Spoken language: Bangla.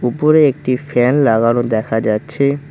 উপরে একটি ফ্যান লাগানো দেখা যাচ্ছে।